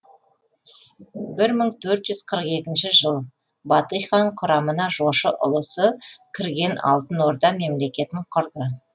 бір мың төрт жүз қырық екінші жыл батый хан құрамына жошы ұлысы кірген алтын орда мемлекетін құрды